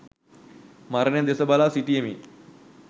මරණය දෙස බලා සිටියෙමි.